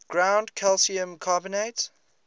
ground calcium carbonate